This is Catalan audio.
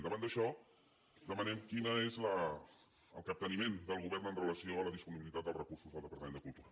davant d’això demanem quin és el capteniment del govern amb relació a la disponibilitat dels recursos del departament de cultura